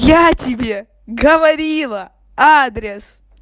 я тебе говорила адрес